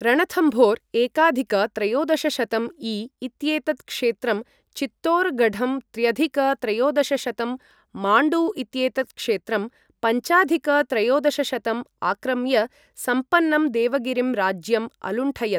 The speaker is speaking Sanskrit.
रणथम्भोर एकाधिक त्रयोदशशतं ई. इत्येतत् क्षेत्रं, चित्तोरगढं त्र्यधिक त्रयोदशशतं , माण्डु इत्येतत् क्षेत्रं पञ्चाधिक त्रयोदशशतं आक्रम्य सम्पन्नं देवगिरिं राज्यम् अलुण्ठयत्।